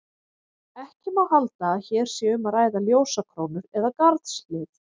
Ekki má halda að hér sé um að ræða ljósakrónur eða garðshlið.